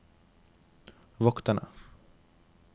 vokterne